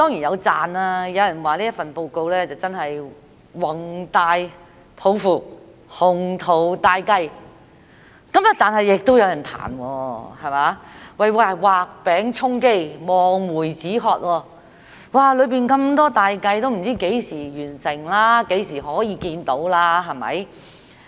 有人讚這份報告展現宏大抱負、雄圖大計；但亦有人彈，說是畫餅充飢、望梅止渴，裏面有這麼多大計，不知道要到何時才能完成，何時可以看到。